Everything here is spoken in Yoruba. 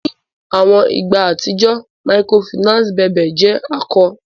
Ni awọn igba atijọ Microfinance bèbe jẹ ako.